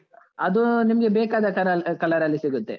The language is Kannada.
ಅದು ನಿಮ್ಗೆ ಬೇಕಾದ caral~ color , ಅಲ್ಲಿ ಸಿಗುತ್ತೆ.